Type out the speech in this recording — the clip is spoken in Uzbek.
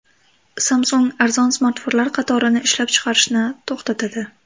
Samsung arzon smartfonlar qatorini ishlab chiqarishni to‘xtatadi.